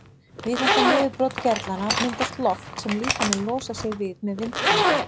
Við þetta niðurbrot gerlanna myndast loft sem líkaminn losar sig við með vindgangi.